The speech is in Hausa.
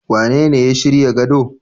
Wanene ya shirya gado.